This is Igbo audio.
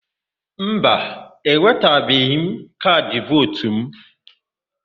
Mba, ewetabeghị m kaadị vootu mụ.